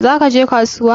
Za ka je kasuwa?